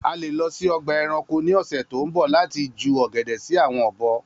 A le lọ si ọgba ẹranko ni ọsẹ to nbọ lati jẹun ogede si awọn obo